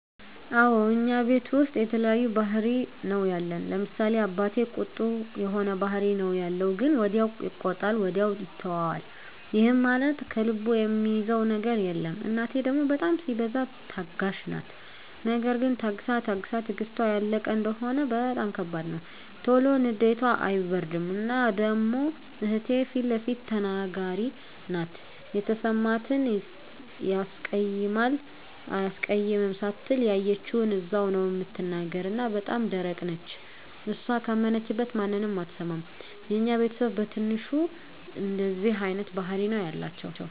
አወ እኛ ቤተሰብ ዉስጥ የተለያየ ባህሪ ነዉ ያለን፤ ለምሳሌ፦ አባቴ ቁጡ የሆነ ባህሪ ነዉ ያለዉ ግን ወዲያዉ ይቆጣል ወዲያዉ ይተወዋል ይህም ማለት ከልቡ እሚይዘዉ ነገር የለም፣ እናቴ ደሞ በጣም ሲበዛ ታጋሽ ናት ነገር ግን ታግሳ ታግሳ ትግስቷ ያለቀ እንደሆነ በጣም ከባድ ነዉ። ቶሎ ንዴቷ አይበርድም እና ደሞ እህቴ ፊለፊት ተናጋሪ ናት የተሰማትን ያስቀይማል አያስቀይምም ሳትል ያየችዉን እዛዉ ላይ ነዉ እምትናገር እና በጣም ደረቅ ነች እሷ ካመነችበት ማንንም አትሰማም። የኛ ቤተስብ በትንሹ እንደዚህ አይነት ባህሪ ነዉ ያላቸዉ።